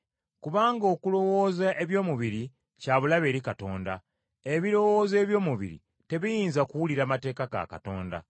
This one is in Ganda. Kubanga okulowooza eby’omubiri kya bulabe eri Katonda. Ebirowoozo eby’omubiri tebiyinza kuwulira mateeka ga Katonda.